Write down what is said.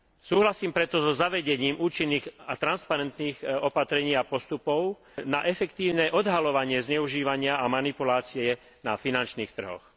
Súhlasím preto so zavedením účinných a transparentných opatrení a postupov na efektívne odhaľovanie zneužívania a manipulácie na finančných trhoch.